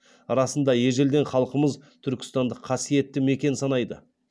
расында ежелден халқымыз түркістанды қасиетті мекен санайды